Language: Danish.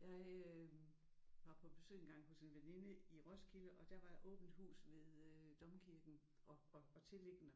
Jeg øh var på besøg engang hos en veninde i Roskilde og der var åbent hus ved øh Domkirken og og tilliggende